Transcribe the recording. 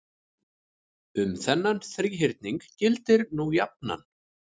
Um þennan þríhyrning gildir nú jafnan